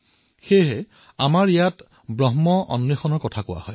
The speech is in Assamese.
সেইবাবেই আমাৰ ইয়াৰ ব্ৰহ্মৰ অন্বেষণৰো কথা কোৱা হয়